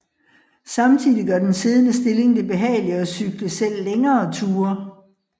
Samtidigt gør den siddende stilling det behageligt at cykle selv længere ture